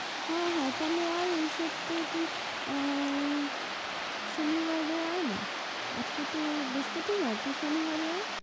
হ্যাঁ হ্যাঁ তাহলে আয় এই সপ্তায় তুই, অ্যা শনিবারে আয় না, আজকে তো বৃহস্পতিবার, তুই শনিবারে আয়।